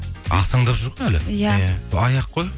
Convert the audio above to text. ақсаңдап жүр ғой әлі иә сол аяқ қой